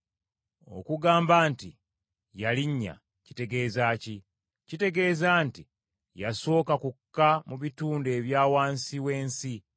Okugamba nti “yalinnya,” kitegeeza ki? Kitegeeza nti yasooka kukka mu bitundu ebya wansi w’ensi.